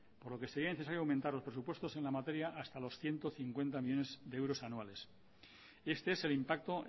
por lo que sería necesario aumentar los presupuestos en la materia hasta los ciento cincuenta millónes de euros anuales y este es el impacto